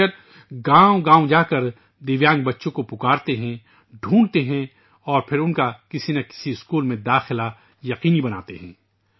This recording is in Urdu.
یہ اساتذہ گاؤں گاؤں جا کر معذور بچوں کو پکارتے ہیں ، ان کی تلاش کرتے ہیں اور پھر کسی نہ کسی اسکول میں ان کے داخلے کو یقینی بناتے ہیں